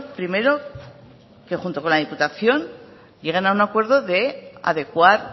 primero que junto con la diputación lleguen a un acuerdo de adecuar